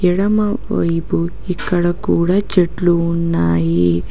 ఎడమవైపు ఇక్కడ కూడా చెట్లు ఉన్నాయి.